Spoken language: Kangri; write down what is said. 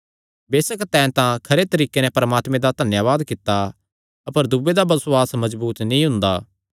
बेसक तैं तां खरे तरीके नैं परमात्मे दा धन्यावाद कित्ता अपर दूये दा बसुआस मजबूत नीं हुंदा